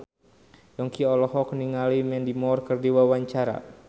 Yongki olohok ningali Mandy Moore keur diwawancara